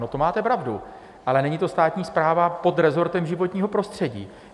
No, to máte pravdu, ale není to státní správa pod rezortem životního prostředí.